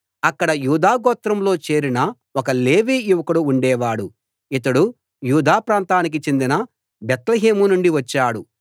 అక్కడ యూదా గోత్రంలో చేరిన ఒక లేవీ యువకుడు ఉండేవాడు ఇతడు యూదా ప్రాంతానికి చెందిన బేత్లెహేము నుండి వచ్చాడు